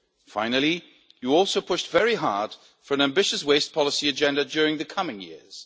Finally, you also pushed very hard for an ambitious waste policy agenda during the coming years.